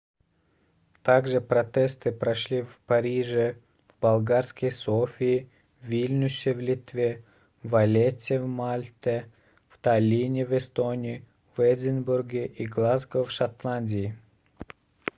также протесты прошли в париже в болгарской софии в вильнюсе в литве в валлетте в мальте в таллине в эстонии в эдинбурге и глазго в шотландии